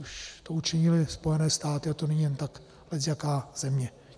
Už to učinily Spojené státy a to není jen tak lecjaká země.